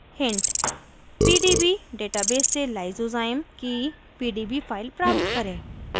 hint: pdb database से lysozyme की pdb file प्राप्त करें